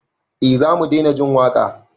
Eh zamu daina jin waƙa